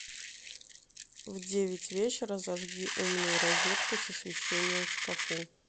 в девять вечера зажги умную розетку с освещением в шкафу